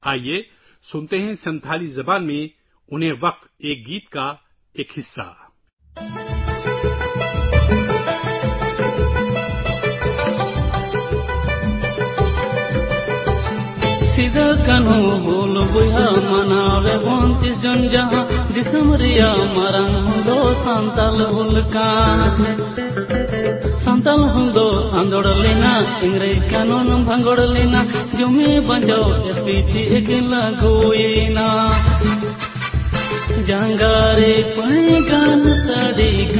آئیے سنتالی زبان میں ان کے لیے ایک گیت کا اقتباس سنتے ہیں